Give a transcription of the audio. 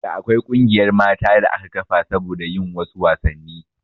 Da akwai ƙungiyar mata da aka kafa saboda yin wasu wasanni